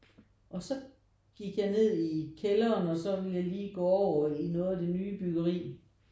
Og så gik jeg ned i kælderen og så ville jeg lige gå over i noget af det nye byggeri